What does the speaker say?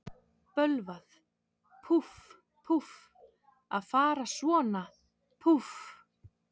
Bölvað, púff, púff, að fara svona, púff.